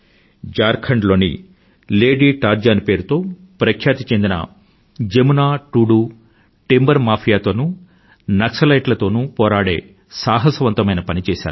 ఝార్ఖండ్ లో lady Tarzan పేరుతో ప్రఖ్యాతి చెందిన జమునా టూడూ టింబర్ మాఫియా తోనూ నక్సలైట్ల తోనూ పోరాడే సాహసవంతమైన పని చేసారు